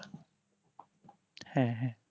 হ্যাঁ হ্যাঁ